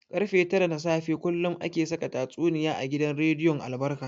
Karfe tara na safe kullum ake saka tatsuniya a gidan rediyon albarka.